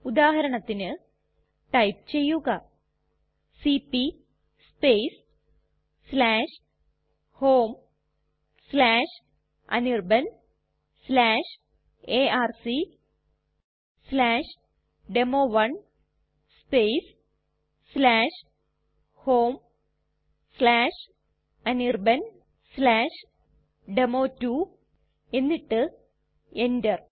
ഉദാഹരണത്തിന് ടൈപ്പ് ചെയ്യുക cp homeanirbanarcdemo1 homeanirbandemo2 എന്നിട്ട് enter